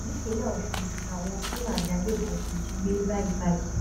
nípínlẹ ọsùn làwọn fúlàní agbébọn ti jí gbé báyìí báyìí